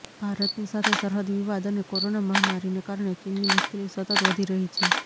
ભારતની સાથે સરહદ વિવાદ અને કોરોના મહામારીને કારણે ચીનની મુશ્કેલી સતત વધી રહી છે